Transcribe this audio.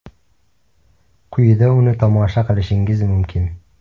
Quyida uni tomosha qilishingiz mumkin.